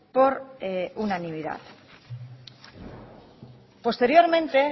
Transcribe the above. por unanimidad posteriormente